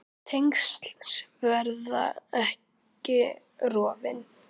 Tengsl sem verða ekki rofin.